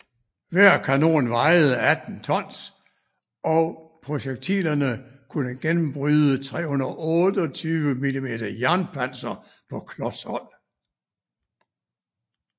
Hver kanon vejede 18 tons og projektilerne kunne gennembryde 328 mm jernpanser på klos hold